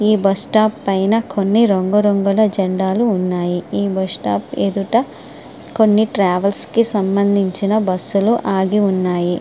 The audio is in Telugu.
ఈ బస్ స్టాప్ పైన కొన్ని రంగురంగుల జెండాలు ఉన్నాయి ఈ బస్ స్టాప్ ఎదుట కొన్ని ట్రావెల్స్ కి సంబంధించిన బస్సు లు ఆగి ఉన్నాయి.